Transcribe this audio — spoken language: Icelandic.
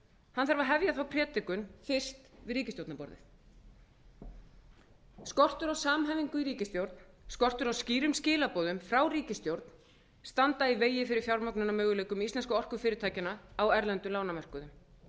hann þarf að hefja þá predikun fyrst við ríkisstjórnarborðið skortur á samhæfingu í ríkisstjórn skortur á skýrum skilaboðum frá ríkisstjórn standa í vegi fyrir fjármögnunarmöguleikum íslensku orkufyrirtækjanna á erlendum lánamörkuðum